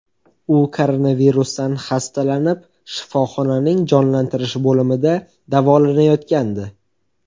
U koronavirusdan xastalanib, shifoxonaning jonlantirish bo‘limida davolanayotgandi.